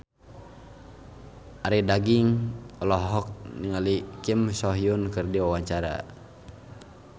Arie Daginks olohok ningali Kim So Hyun keur diwawancara